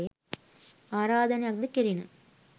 ආරාධනයක් ද කෙරිණ.